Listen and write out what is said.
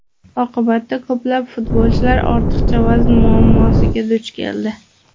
Oqibatda ko‘plab futbolchilar ortiqcha vazn muammosiga duch keldi.